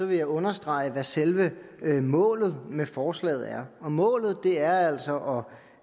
vil jeg understrege hvad selve målet med forslaget er målet er altså